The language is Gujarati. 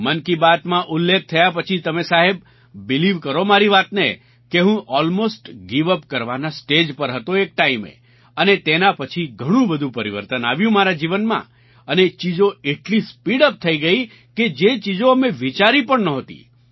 મન કી બાતમાં ઉલ્લેખ થયા પછી તમે સાહેબ બિલીવ કરો મારી વાતને કે હું અલ્મોસ્ટ ગિવ યુપી કરવાના સ્ટેજ પર હતો એક ટાઇમે અને તેના પછી ઘણું બધું પરિવર્તન આવ્યું મારા જીવનમાં અને ચીજો એટલી સ્પીડ યુપી થઈ ગઈ કે જે ચીજો અમે વિચારી પણ નહોતી